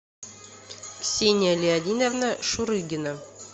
ксения леонидовна шурыгина